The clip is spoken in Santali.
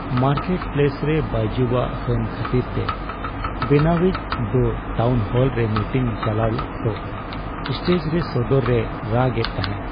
ᱢᱟᱨᱠᱮᱴ ᱯᱞᱮᱥ ᱨᱮ ᱵᱟᱭᱡᱩᱣᱟᱜ ᱦᱟᱹᱱ ᱠᱷᱟᱹᱛᱤᱨᱛᱮ ᱵᱮᱱᱟᱣᱤᱡ ᱫᱚ ᱴᱟᱣᱩᱱᱦᱚᱞᱨᱮ ᱢᱤᱴᱤᱝ ᱪᱟᱞᱟᱜ ᱚᱠᱛᱚ ᱥᱴᱮᱡᱽ ᱨᱮ ᱥᱚᱫᱚᱨ ᱨᱮᱭ ᱨᱟᱜ ᱮᱫ ᱛᱟᱦᱮᱸ ᱾